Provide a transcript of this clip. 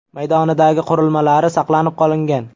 maydonidagi qurilmalari saqlanib qolingan.